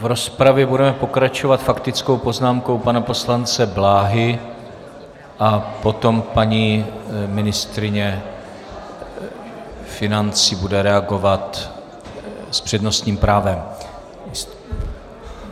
V rozpravě budeme pokračovat faktickou poznámkou pana poslance Bláhy a potom paní ministryně financí bude reagovat s přednostním právem.